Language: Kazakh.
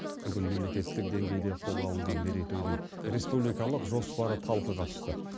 бүгін мемлекеттік деңгейде қолға алынған мерейтойдың республикалық жоспары талқыға түсті